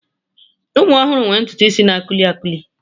Ụmụ ọhụrụ nwere ntutu isi na a kuili a kuili.